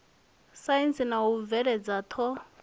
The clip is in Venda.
saintsi na u bveledza ṱho